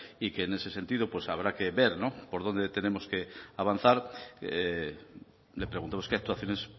y que en ese sentido habrá que ver por dónde tenemos que avanzar le preguntamos qué actuaciones